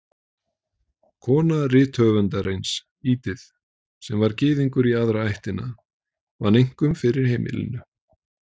Kona rithöfundarins, Edith, sem var Gyðingur í aðra ættina, vann einkum fyrir heimilinu.